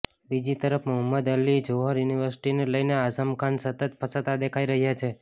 બીજી તરફ મોહમ્મદ અલી જોહર યુનિવર્સિટીને લઈને આઝમ ખાન સતત ફસાતા દેખાઈ રહ્યા છે